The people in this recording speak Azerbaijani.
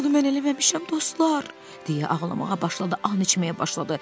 Bunu mən eləməmişəm dostlar, deyə ağlamağa başladı, and içməyə başladı.